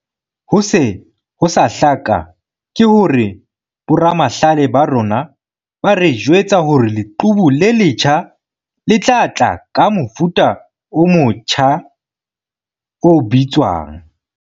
"Ho se ho sa hlaka ke hore boramahlale ba rona ba re jwetsa hore leqhubu le letjha le tla tla ka mofuta o motja o bitswang."